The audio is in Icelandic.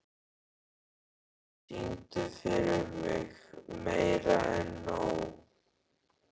Katrína, syngdu fyrir mig „Meira En Nóg“.